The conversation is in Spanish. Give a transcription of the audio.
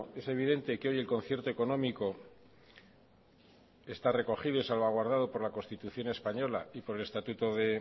es evidente que hoy el concierto económico está recogido y salvaguardado por la constitución española y por el estatuto de